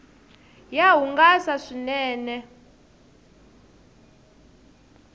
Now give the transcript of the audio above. ya hungasa swinene